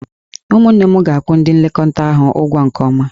Ụmụnne m ga-akwụ ndị nlekọta ahụ ụgwọ nke ọma.